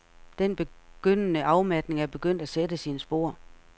Den begyndende afmatning er begyndt at sætte sine spor.